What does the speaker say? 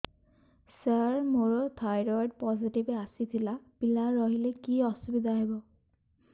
ସାର ମୋର thyroid positive ଆସିଥିଲା ପିଲା ରହିଲେ କି ଅସୁବିଧା ହେବ